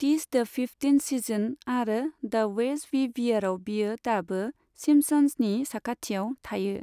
टिस द fifteenth season आरो द वेज़ वी वेयरआव बियो दाबो सिम्पसंसनि साखाथियाव थायो।